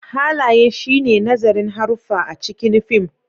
Halaye shi ne nazarin haruffa a cikin fim